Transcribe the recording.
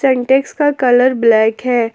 सीन्टेक्स का colour black है।